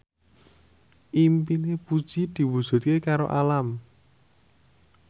impine Puji diwujudke karo Alam